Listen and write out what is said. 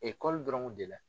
Ekɔli dɔrɔn de la.